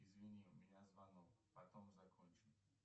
извини у меня звонок потом закончим